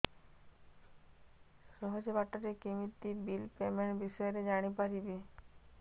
ସହଜ ବାଟ ରେ କେମିତି ବିଲ୍ ପେମେଣ୍ଟ ବିଷୟ ରେ ଜାଣି ପାରିବି